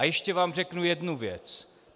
A ještě vám řeknu jednu věc.